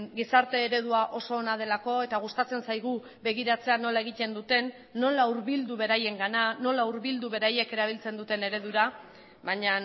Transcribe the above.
gizarte eredua oso ona delako eta gustatzen zaigu begiratzea nola egiten duten nola hurbildu beraiengana nola hurbildu beraiek erabiltzen duten eredura baina